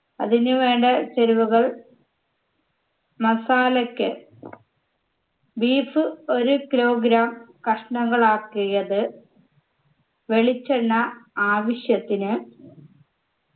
അതിനുവേണ്ട ചേരുവകൾ masala ക്ക് beef ഒരു kilogram കഷ്ണങ്ങളാക്കിയത് വെളിച്ചെണ്ണ ആവശ്യത്തിന്